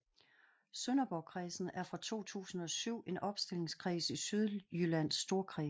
Sønderborgkredsen er fra 2007 en opstillingskreds i Sydjyllands Storkreds